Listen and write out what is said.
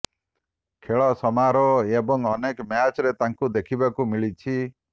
ଖେଳ ସମାରୋହ ଏବଂ ଅନେକ ମ୍ୟାଚରେ ତାଙ୍କୁ ଦେଖିବାକୁ ମିଳିଛି